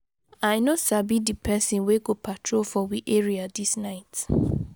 I no sabi di pesin wey go patrol for we area dis night.